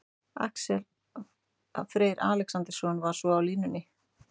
Freyr Alexandersson var svo á línunni.